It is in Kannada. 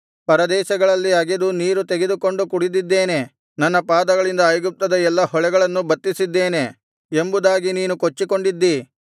ಪರದೇಶಗಳಲ್ಲಿ ಅಗೆದು ನೀರು ತೆಗೆದುಕೊಂಡು ಕುಡಿದಿದ್ದೇನೆ ನನ್ನ ಪಾದಗಳಿಂದ ಐಗುಪ್ತದ ಎಲ್ಲಾ ಹೊಳೆಗಳನ್ನು ಬತ್ತಿಸಿದ್ದೇನೆ ಎಂಬುದಾಗಿ ನೀನು ಕೊಚ್ಚಿಕೊಂಡಿದ್ದಿ